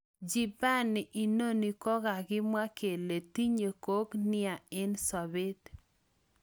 Jibani inano kokakimwa kele tinye gok nia een sapet